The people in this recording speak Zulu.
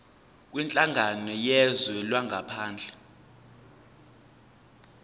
kwinhlangano yezwe langaphandle